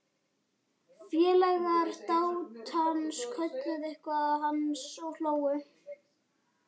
Félagar dátans kölluðu eitthvað til hans og hlógu.